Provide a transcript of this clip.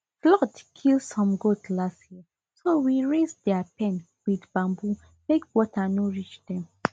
flood kill some goat last year so we raise their pen with bamboo make water no reach dem